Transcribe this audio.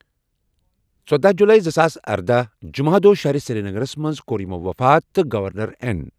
ژۄداہ جُلاے زٕ ساس ارداہ، جمعہ دۄہ شہرِ سریٖنگرس مٕنٛز کۄٚر یِمو وفات تہٕ گورنر این